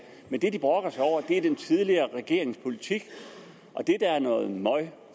men det de brokker sig over er den tidligere regerings politik og det der er noget møg